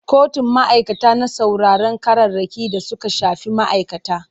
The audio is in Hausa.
Kotun ma'aikata na sauraron ƙararraki da suka shafi ma'aikata.